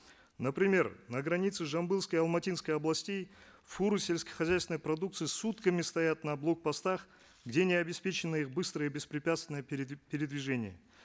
например на границе жамбылской и алматинской областей фуры сельскохозяйственной продукции сутками стоят на блок постах где не обеспечено их быстрое и беспрепятственное передвижение